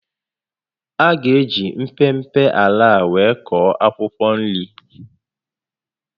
A gá eji mpempe ala a were kụọ akwụkwọ nri